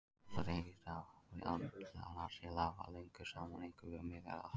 Sjálfsagt eiga veiðarnar sér afar langa sögu einkum við Miðjarðarhaf.